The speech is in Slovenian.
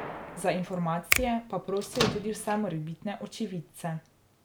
Za informacije pa prosijo tudi vse morebitne očividce.